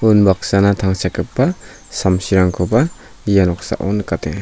unbaksana tangsekgipa samsirangkoba ia noksao nikatenga.